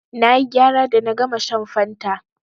Na yi gyara da na gama shan fanta.